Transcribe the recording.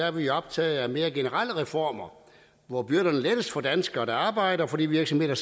er vi optaget af mere generelle reformer hvor byrderne lettes for danskere der arbejder og for de virksomheder